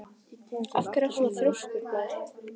Af hverju ertu svona þrjóskur, Blær?